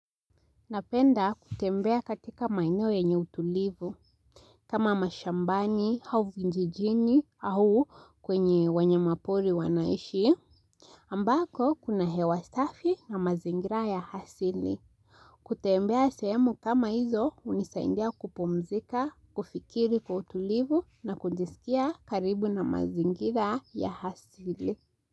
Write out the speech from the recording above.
Napenda kutembea katika maeneo yenye utulivu, kama mashambani, hau vinjijni, au kwenye wanyama pori wanaishi, ambako kuna hewa safi na mazingira ya hasini kutembea sehemu kama hizo, hunisaindia kupumzika, kufikiri kwa utulivu, na kujisikia karibu na mazingira ya hasili.